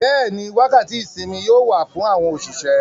Bẹ́ẹ̀ni, wákàtí ìsinmi yóò wà fún àwọn òṣìṣẹ́.